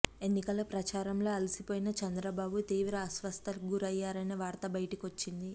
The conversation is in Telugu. ఎన్నికల ప్రచారంలో అలసిపోయిన చంద్రబాబు తీవ్ర అస్వస్థతకు గురయ్యారనే వార్త బయటికొస్తుంది